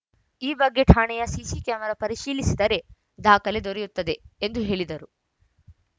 ಈ ಬಗ್ಗೆ ಠಾಣೆಯ ಸಿಸಿ ಕ್ಯಾಮೆರಾ ಪರಿಶೀಲಿಸಿದರೆ ದಾಖಲೆ ದೊರೆಯುತ್ತದೆ ಎಂದು ಹೇಳಿದರು